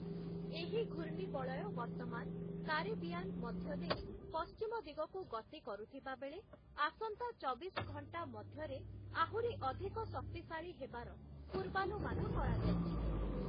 ଏହି ଘୂର୍ଣ୍ଣିବଳୟ ବର୍ତ୍ତମାନ କାରିବିଆନ୍‌ ମଧ୍ୟଦେଇ ପଶ୍ଚିମ ଦିଗକୁ ଗତି କରୁଥିବାବେଳେ ଆସନ୍ତା ଚବିଶ ଘଣ୍ଟା ମଧ୍ୟରେ ଆହୁରି ଅଧିକ ଶକ୍ତିଶାଳୀ ହେବାର ପୂର୍ବାନୁମାନ କରାଯାଇଛି ।